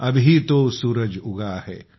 अभी तो सूरज उगा है